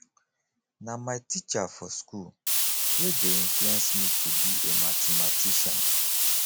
na my teacher for school wey dey influence me to be a mathematician